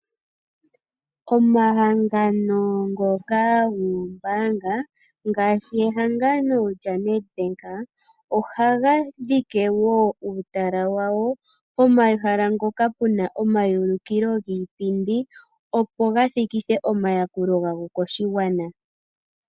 Omahangano ngoka goombaanga, ngaashi ehangano lya Nedbank, oha ga dhike woo uutala wawo pomahala ngoka puna oamayuliko giipndi, opo gathikithe oma yakulo ga go koshigwana.